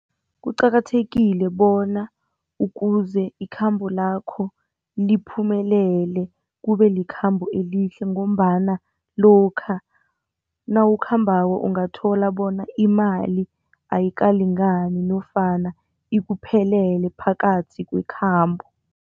Kuqakathekile bona ukuze ikhambo lakho liphumelele kube likhambo elihle ngombana lokha nawukhambako ungathola bona imali ayikalingani nofana ikuphelele phakathi kwekhambo.